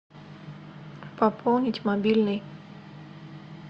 пополнить мобильный